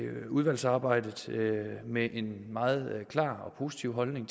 udvalgsarbejdet med en meget klar og positiv holdning